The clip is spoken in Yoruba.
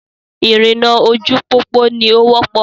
Ìrìnnà ojú pópó ni o wọ́pọ̀.